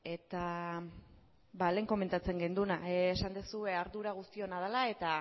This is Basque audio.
eta lehen komentatzen genuena esan duzu ardura guztiona dela eta